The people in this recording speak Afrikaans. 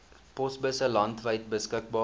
posbusse landwyd beskikbaar